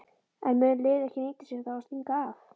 En mun liðið ekki nýta sér það og stinga af?